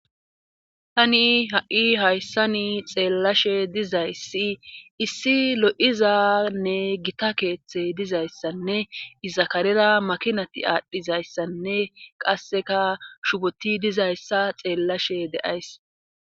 Tani ha7i hayssani xeellashe dizayssi issi lo7izanne gita keeththe dizayssanne izakarera makinati aadhdhizayssanne qasseka shuboti dizayssa xeellashe deays